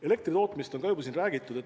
Elektri tootmisest on ka juba räägitud.